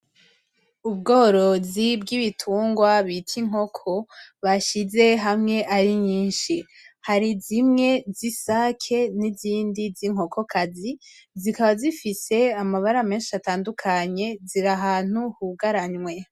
Ubworozi bw'ibitungwa bita inkoko bashize hamwe ari nyinshi. Hari zimwe z'isake n'izindi z'inkokokazi zikaba zifise amabara menshi atandukanye, ziri ahantu hugaranwe.